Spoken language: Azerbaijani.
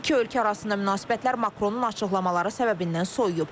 İki ölkə arasında münasibətlər Makronun açıqlamaları səbəbindən soyuyub.